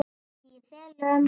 Í felum.